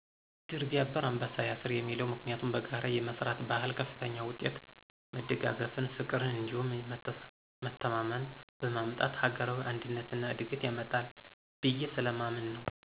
ድር ቢያብር አንበሳ ያስር የሚለው ምክንያቱም በጋራ የመስራት ባህል ከፍተኛ ውጤትን፣ መደጋገፍን፣ ፍቅርን እንዲሁም መተማመንን በማምጣት ሀገራዊ አንድነት እና እድገትን ያመጣል ብየ ስለማምን ነው።